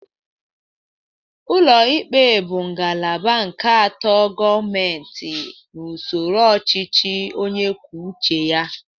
Ụlọ ikpe bụ ngalaba nke atọ Gọmenti n'usoro ọchịchị onyekwucheya.